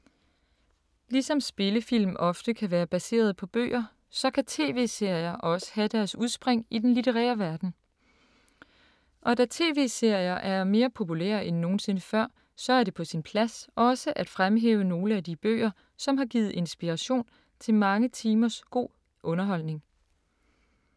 Ligesom spillefilm ofte kan være baseret på bøger, så kan TV-serier også have deres udspring i den litterære verden. Og da TV-serier er mere populære end nogensinde før, så er det på sin plads også at fremhæve nogle af alle de bøger, som har givet inspirationen til mange timers god underholdning.